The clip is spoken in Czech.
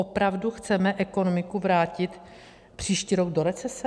Opravdu chceme ekonomiku vrátit příští rok do recese?